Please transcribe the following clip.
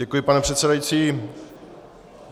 Děkuji, pane předsedající.